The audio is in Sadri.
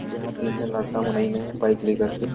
जहाँ तीन झन लड़का मन अइन हे बाइक ले कर के।